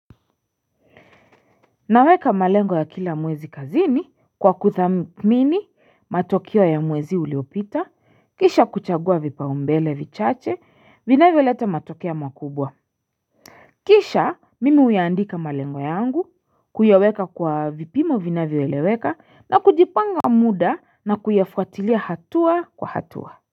Naweka malengo ya kila mwezi kazini kwa kuthamini matokeo ya mwezi uliopita kisha kuchagua vipaumbele vichache vinavyoleta matokea makubwa Kisha mimi huyaandika malengo yangu kuyaweka kwa vipimo vinavyo eleweka na kujipanga muda na kuyafuatilia hatua kwa hatua.